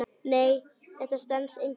Nei, þetta stenst engan veginn.